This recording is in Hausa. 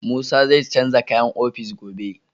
Musa zai canza kayan ofis gobe.